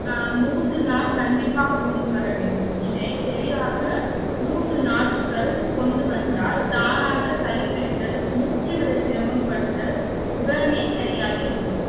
ஆஹ் மூன்று நாள் கண்டிப்பாக கொண்டுவரவேண்டும். இதை சரியாக மூன்று நாட்கள் கொண்டு வந்தால் தானாக சளி பிடித்தல் மூச்சுவிட சிரமம் படுதல் உடனே சரியாகிவிடும்